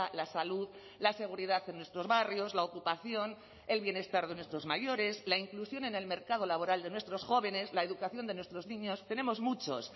la salud la seguridad en nuestros barrios la ocupación el bienestar de nuestros mayores la inclusión en el mercado laboral de nuestros jóvenes la educación de nuestros niños tenemos muchos